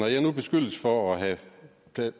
jeg nu beskyldes for at have